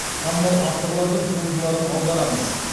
танымал авторлардың туындыларын аударамыз